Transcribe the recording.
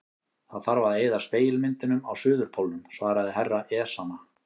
Það þarf að eyða spegilmyndunum á Suðurpólnum, svaraði herra Ezana.